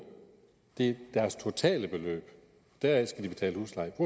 det er deres totale beløb og deraf